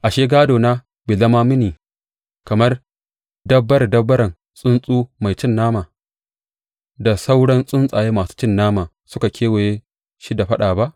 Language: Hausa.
Ashe, gādona bai zama mini kamar dabbare dabbaren tsuntsu mai cin nama da sauran tsuntsaye masu cin nama suka kewaye shi da faɗa ba?